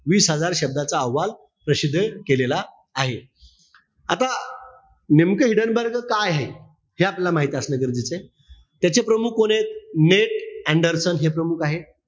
वीस हजार शब्दाचा अहवाल प्रसिद्ध केलेला आहे. आता नेमकं हिडेनबर्गच काय आहे? हे आपल्याला माहित असणं गरजेचं आहे. त्याचे प्रमुख कोणेत? नेट अँडरसन हे प्रमुख आहेत.